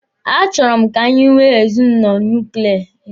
A chọrọ m ka anyị nwee ezinụlọ nuklia.